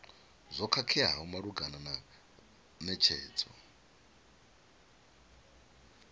zwo khakheaho malugana na netshedzo